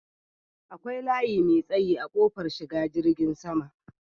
Akwai layi mai tsayi a kofar shiga filin jirgin sama.